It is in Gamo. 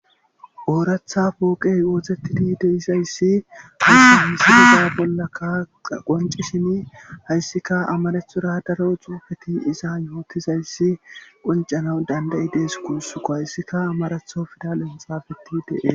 ooratha pooqey wootettidi deizayssi ha humsi isa bolla kaaa qonci shini hayssika amarethura daro cuufeti iza yookizayssi qoncana dandayi dees kuussuko hayssika amaratho fida lenxafeti dee